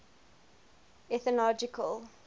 ethnological